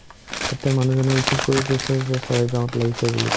তেতিয়া মানুহজনে receive কৰি কৈছে যে ছয়গাওঁত লাগিছে বুলি